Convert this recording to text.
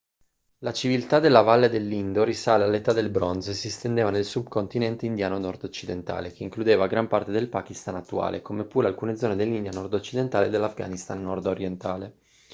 la civiltà della valle dell'indo risale all'età del bronzo e si estendeva nel sub-continente indiano nordoccidentale che includeva gran parte del pakistan attuale come pure alcune zone dell'india nordoccidentale e dell'afghanistan nordorientale